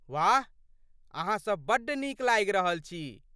वाह, अहाँसभ बड्ड नीक लागि रहल छी।